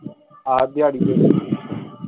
ਹਾਂ ਦਿਹਾੜੀ